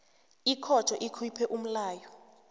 ikhotho ikhuphe umlayo